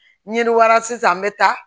Ni ye wara sisan n bɛ taa